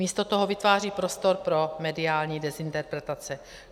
Místo toho vytváří prostor pro mediální dezinterpretace.